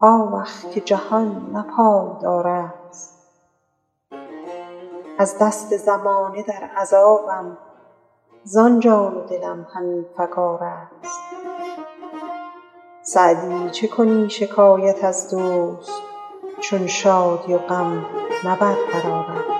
آوخ که جهان نه پایدار است از دست زمانه در عذابم زان جان و دلم همی فکار است سعدی چه کنی شکایت از دوست چون شادی و غم نه برقرار است